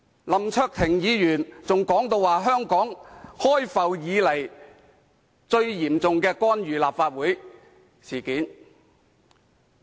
林卓廷議員更說這是香港開埠以來最嚴重的干預立法會事件。